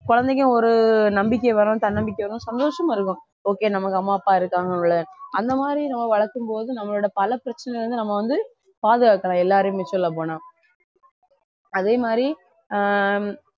குழந்தைக்கும் ஒரு நம்பிக்கை வரும் தன்னம்பிக்கை வரும் சந்தோஷமா இருக்கும் okay நமக்கு அம்மா அப்பா இருக்காங்க போல அந்த மாதிரி நம்ம வளர்க்கும் போது நம்மளோட பல பிரச்சனையில இருந்து நம்ம வந்து பாதுகாக்கலாம் எல்லாரையும் சொல்லப் போனா அதே மாதிரி ஆஹ்